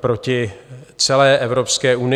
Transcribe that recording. proti celé Evropské unii.